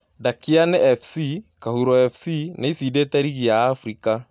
Ndakiane Fc, Kahuro Fc nĩĩcindite rigi ya Africa